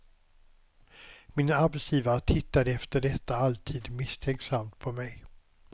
Min arbetsgivare tittade efter detta alltid misstänksamt på mej.